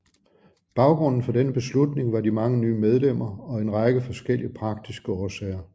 Baggrunden for denne beslutning var de mange nye medlemmer og en række forskellige praktiske årsager